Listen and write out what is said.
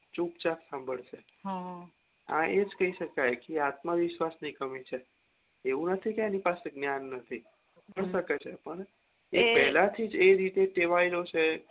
ચુપ ચાપ સંભાળશે આ એજ કે છે કે કી આત્મવિશ્વાસ ની કમી છે એવું નથી કે એના પાસે જ્ઞાન નથી બની શકે છે પણ એ પેલાથીજ એ રીતે ટેવાયેલો છે